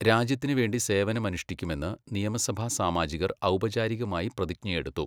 രാജ്യത്തിന് വേണ്ടി സേവനമനുഷ്ഠിക്കുമെന്ന് നിയമസഭാസാമാജികർ ഔപചാരികമായി പ്രതിജ്ഞയെടുത്തു.